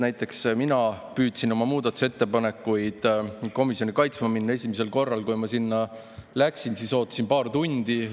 Näiteks, esimesel korral, kui mina püüdsin oma muudatusettepanekuid komisjoni kaitsma minna, ma ootasin seal paar tundi.